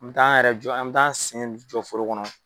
N'o tɛ an yɛrɛ jɔ an bɛ taa sen jɔ foro kɔnɔ.